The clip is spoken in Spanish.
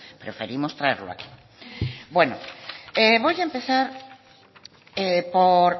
preferimos traerlo aquí bueno voy a empezar por